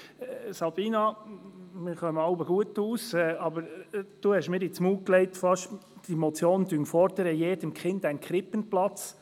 Sabina Geissbühler, wir verstehen uns in der Regel gut, aber Sie haben mir praktisch unterstellt, die Motion fordere für jedes Kind einen Krippenplatz.